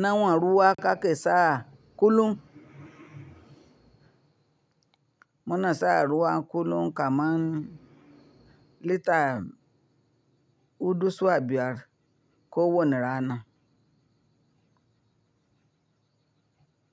Nawa ruwa ka ke sa kullum? Muna sa ruwa kullum kaman lita hudu zuwa biyar ko wani rana.